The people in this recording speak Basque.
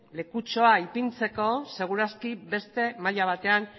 lekutxoa ipintzeko segur aski beste maila batean